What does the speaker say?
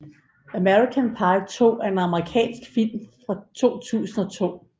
American Pie 2 er en amerikansk film fra 2002